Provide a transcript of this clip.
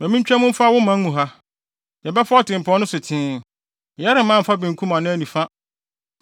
“Ma yentwa mu mfa wo man mu ha. Yɛbɛfa ɔtempɔn no so tee; yɛremman mfa benkum anaa nifa.